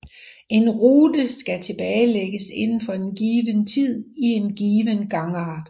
En rute skal tilbagelægges inden for en given tid i en given gangart